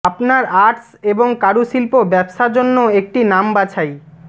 আপনার আর্টস এবং কারুশিল্প ব্যবসা জন্য একটি নাম বাছাই